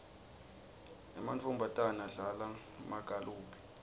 emantfombatana adlala magalophu